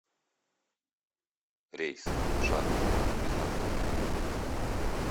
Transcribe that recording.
рейс в шанло из находки